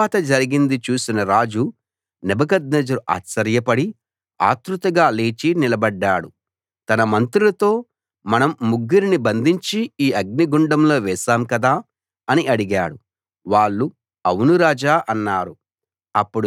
తరువాత జరిగింది చూసిన రాజు నెబుకద్నెజరు ఆశ్చర్యపడి ఆత్రుతగా లేచి నిలబడ్డాడు తన మంత్రులతో మనం ముగ్గురిని బంధించి ఈ అగ్నిగుండంలో వేశాం కదా అని అడిగాడు వాళ్ళు అవును రాజా అన్నారు